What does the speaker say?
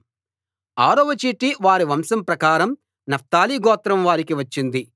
ఆరవ చీటి వారి వంశం ప్రకారం నఫ్తాలి గోత్రం వారికి వచ్చింది